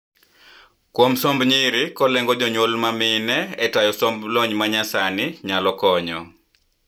kuom somb nyiri kolengo jontyuol mamine e tayo somb lony manyasani nyalo konyo